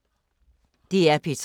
DR P3